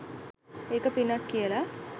ඒක පිනක් කියලා.